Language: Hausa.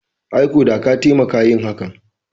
Ai ko da ka taimaka yin hakan